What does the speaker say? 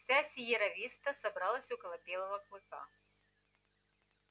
вся сиерра виста собралась около белого клыка